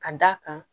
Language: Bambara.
Ka d'a kan